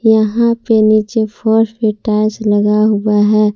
यहां पे नीचे फर्श पर टाइल्स लगा हुआ है।